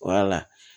Wala